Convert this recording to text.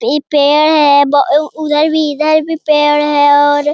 इ पेड़ है ब उ उधर भी इधर भी पेड़ है और --